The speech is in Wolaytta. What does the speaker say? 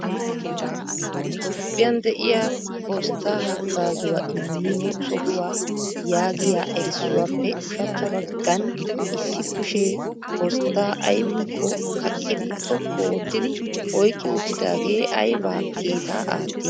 Toophiyan de'iyaa postta haggazzuwa immiyo sohuwa yaaggiya erissuwappe ushachcha baggaan issi kushe postta aybbinkko kaqqidi xoqqu oottidi oyqqi uttidaagee aybba kiita aatti?